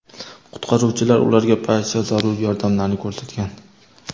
Qutqaruvchilar ularga barcha zarur yordamlarni ko‘rsatgan.